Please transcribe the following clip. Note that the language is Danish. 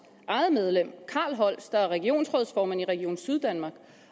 eget medlem carl holst der er regionsrådsformand i region syddanmark